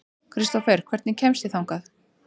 Kristófer, hvernig kemst ég þangað?